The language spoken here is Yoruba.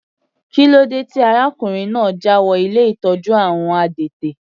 Kílódé tí arákùnrin náà jáwọ ilé ìtọ́jú àwọn adẹ́tẹ̀?